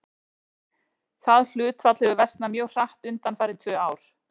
Það hlutfall hefur versnað mjög hratt undanfarin tvö ár.